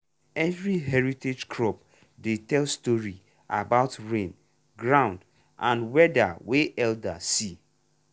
every heritage crop dey tell story about rain ground and weather wey elders see.